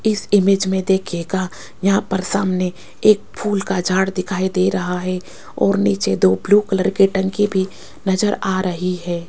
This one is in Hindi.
इस इमेज में देखिएगा यहां पर सामने एक फूल का झाड़ दिखाई दे रहा है और नीचे दो ब्लू कलर के टंकी भी नजर आ रही है।